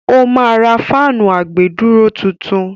ó ma ra fáànù àgbèdúró tuntun.